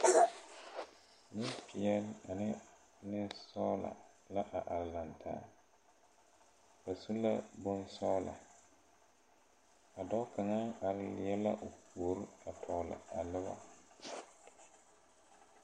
Neŋpeɛɛle ane neŋsɔglɔ la a are laŋtaa ba su la bonsɔglɔ a dɔɔ kaŋa are leɛ la o puori a tɔgle a nobɔ.